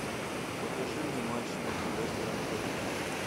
покажи мне матч между лестером и тоттенхэмом